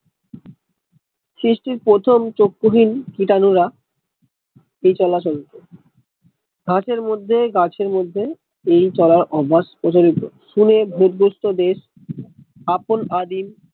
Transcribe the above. সৃষ্টির প্রথম চক্ষুহীন কীটানুরা এই চলা চলতো ঘাসের মধ্যে গাছের মধ্যে এই চলার অভ্যাস প্রচলিত শুনে ভুত গ্রস্ত দেশ আপন আদিম